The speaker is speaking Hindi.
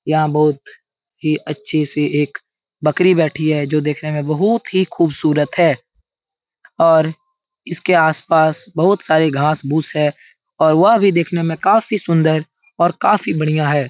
यहाँ बहुत अच्छी-सी एक बकरी बैठी है जो देखने में बहुत ही खूबसूरत है और इसके आस-पास बहुत सारे घास भूस है और वह भी देखने में काफी सुन्दर और काफी बढियाँ है।